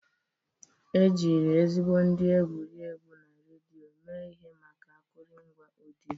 Ejiri ezigbo ndị egwuregwu na redio mee ihe maka akụrụngwa ọdịyo.